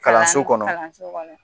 Kalanso kɔnɔ